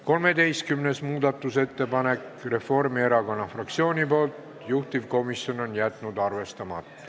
13. muudatusettepanek Reformierakonna fraktsioonilt, juhtivkomisjon on jätnud arvestamata.